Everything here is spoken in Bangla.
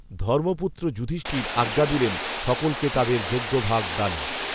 ধর্মপুত্র যুধিষ্ঠির আজ্ঞা দিলেন সকলকে তাদের যজ্ঞভাগ দানের